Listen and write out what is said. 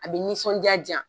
A bɛ nisɔndiya di yan.